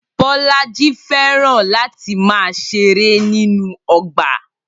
Bolaji fẹ́ràn láti máa ṣeré nínú ọgbà